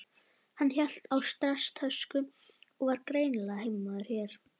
Hann hélt á stresstösku og var greinilega heimamaður hér.